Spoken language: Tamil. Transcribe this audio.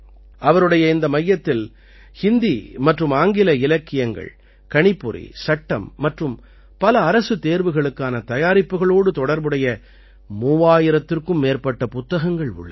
அவருடைய இந்த மையத்தில் ஹிந்தி மற்றும் ஆங்கில இலக்கியங்கள் கணிப்பொறி சட்டம் மற்றும் பல அரசுத் தேர்வுகளுக்கான தயாரிப்புகளோடு தொடர்புடைய 3000த்திற்கும் மேற்பட்ட புத்தகங்கள் உள்ளன